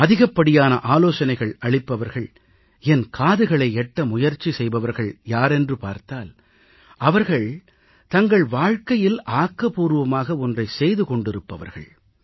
அதிகப்படியான ஆலோசனைகள் அளிப்பவர்கள் என் காதுகளை எட்ட முயற்சி செய்பவர்கள் யாரென்று பார்த்தால் அவர்கள் தங்கள் வாழ்கையில் ஆக்கபூர்வமாக ஒன்றை செய்து கொண்டிருப்பவர்கள்